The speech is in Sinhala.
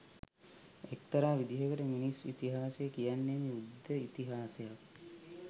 එක්තරා විදිහකට මිනිස් ඉතිහාසය කියන්නෙම යුද්ධ ඉතිහාසයක්